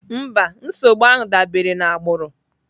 Mba, nsogbu ahụ dabere na agbụrụ.